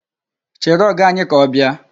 Chere Ọga anyị ka ọ bịa.